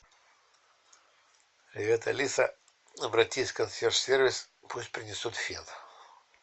привет алиса обратись в консьерж сервис пусть принесут фен